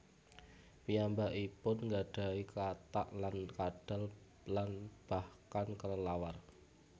Piyambakipun nggadahi katak lan kadal lan bahkan kelelawar